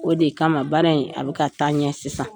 O de kama baara in a bɛ ka taa ɲɛ sisan.